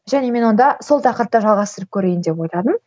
және мен онда сол тақырыпта жалғастырып көрейін деп ойладым